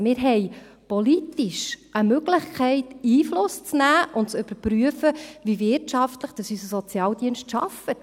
Wir haben politisch also eine Möglichkeit, Einfluss zu nehmen und zu überprüfen, wie wirtschaftlich unser Sozialdienst arbeitet.